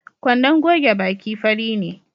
Kwandon goge baki fari ne